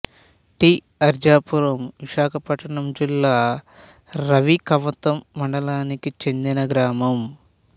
tea Arjapuram Visakhapatnam జిల్లా రావికమతం మండలానికి చెందిన గ్రామం